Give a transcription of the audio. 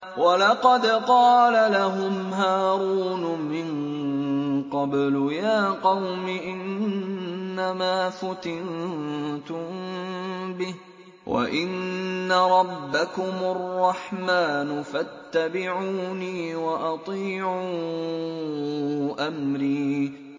وَلَقَدْ قَالَ لَهُمْ هَارُونُ مِن قَبْلُ يَا قَوْمِ إِنَّمَا فُتِنتُم بِهِ ۖ وَإِنَّ رَبَّكُمُ الرَّحْمَٰنُ فَاتَّبِعُونِي وَأَطِيعُوا أَمْرِي